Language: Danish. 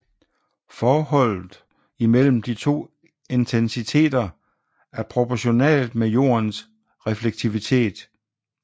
Forholdet imellem de to intensiteter er proportionalt med Jordens reflektivitet